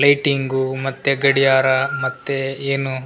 lighting ಮತ್ತೆ ಗಡಿಯಾರ ಮತ್ತೆ ಏನು --